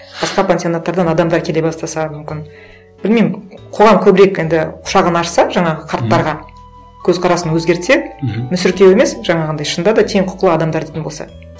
басқа пансионаттардан адамдар келе бастаса мүмкін білмеймін қоғам көбірек енді құшағын ашса жаңағы қарттарға көзқарасын өзгертсе мхм мүсіркеу емес жаңағындай шынында да тең құқылы адамдар дейтін болса